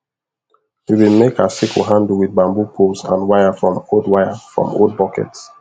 we been make our sickle handle with bamboo poles and wire from old wire from old buckets